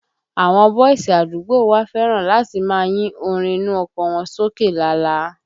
Àwọn bọ́ìsì àdúgbò wa fẹ́ràn láti máa yín orin inú ọkọ̀ wọn sókè lala